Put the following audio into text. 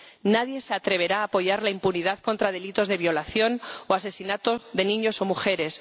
Nadie se atreverá a apoyar la impunidad contra delitos de violación o asesinato de niños o mujeres.